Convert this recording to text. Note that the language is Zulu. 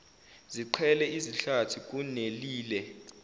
ziqhele izihlathi kunelile